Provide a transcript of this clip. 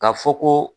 Ka fɔ ko